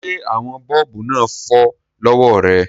Ṣé àwọn bọ́ọ̀bù náà fọ́ lọ́wọ́ rẹ?